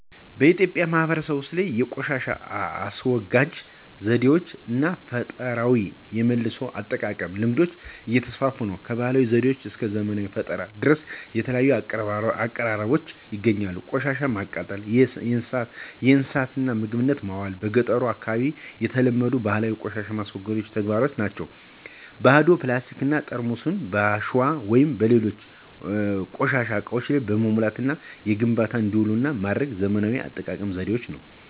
በኢትዮጵያ ማህበረሰቦች ውስጥ የቆሻሻ አስወጋጅ ዘዴዎች እና ፈጠራዊ የመልሶ አጠቃቀም ልምዶች እየተስፋፉ ነው። ከባህላዊ ዘዴዎች እስከ ዘመናዊ ፈጠራዎች ድረስ የተለያዩ አቀራረቦች ይገኛሉ። ቆሻሻወችን ማቃጠል፣ ለእንስሳት ምግብነት ማዋል በ ገጠሩ አካባቢ የተለመዱ ባህላዊ ቆሻሻን የማስወገድ ተግባራት ናቸው። ባዶ ፕላስቲክ ጠርሙሶችን በአሸዋ ወይም በሌሎች ቆሻሻ እቃዎች በመሙላት ለግንባታ እንዲውሉ ማድረግ ዘመናዊ የአጠቃቀም ዘዴ ነው።